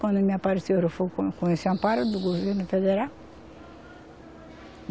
Quando me apareceram, eu fui com esse amparo do governo federal.